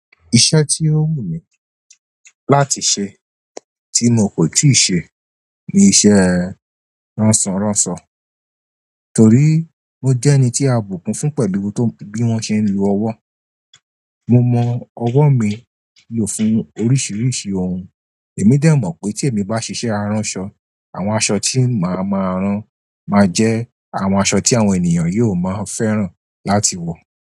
Iṣẹ́ tí ó wù mí láti ṣe tí mo kò tíì ṣe ni iṣẹ́ ránṣọránṣọ torí mo jẹ́ ẹni tí a bùkún fún pẹ̀lú bí wọ́n ṣe ń lo ọwọ́. Mo mọ ọwọ́ mi lò fún oríṣiríṣi ohun èmi dè mọ̀ pé tí èmi bá ṣiṣẹ́ aránṣọ àwọn aṣọ tí màá máa rán máa jẹ́ àwọn aṣọ tí àwọn ènìyàn yóò máa fẹ́ràn láti wọ̀.